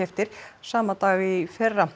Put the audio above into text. sama dag í fyrra